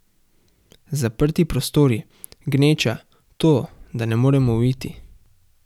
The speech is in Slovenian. Zaprti prostori, gneča, to, da ne morem uiti.